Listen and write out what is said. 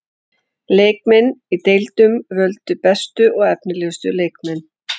Leikmenn í deildunum völdu bestu og efnilegustu leikmenn.